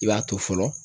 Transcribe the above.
I b'a to fɔlɔ